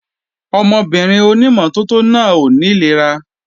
Ọmọbìnrin ònímọ́tótó náà ó ní ìlera